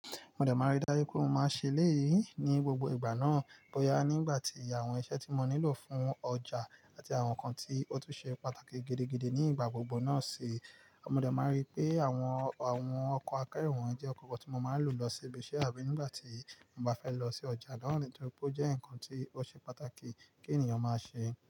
Mo dẹ́ máa rí dájú pé n o máa ṣe léyìí ní gbogbo ìgbà náà bóyá nígbà tí àwọn iṣẹ́ tí mo nílò fún ọjà àti àwọn nǹkan tí ó tún ṣe pàtàkì gidigidi ní ìgbà gbogbo náà sì. Mo dẹ́ máa rí pé àwọn, àwọn ọkọ̀ akẹ́rù wọ́n jẹ́ ọkọ̀ kan tí mo máa ń lò lọ sí ibi iṣẹ́ àbí nígbà tí mo bá fẹ́ lọ sí ọjà nítorí pé ó jẹ́ ǹkan tí ó ṣe pàtàkì kí ènìyàn máa ṣe.